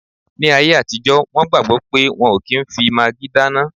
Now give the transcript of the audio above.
Ní ayé àtijọ́, wọn gbàgbọ̀ pé wọ́n ò kí n fi magí dáná